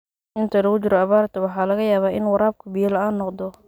Inta lagu jiro abaarta, waxaa laga yaabaa in waraabku biyo la'aan noqdo.